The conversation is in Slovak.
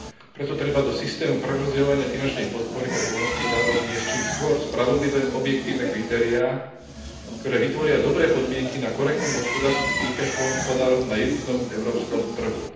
Preto treba do systému prerozdeľovania finančnej podpory pre poľnohospodárov vniesť čím skôr spravodlivé objektívne kritériá, ktoré vytvoria dobré podmienky na korektnú hospodársku súťaž poľnohospodárov na jednotnom európskom trhu.